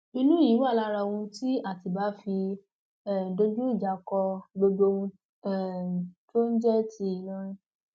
ìbínú èyí wà lára ohun tí àtibá fi um dojú ìjà kọ gbogbo ohun um tó ń jẹ ti ìlọrin